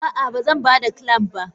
Ah ah bazanbada clamp ba.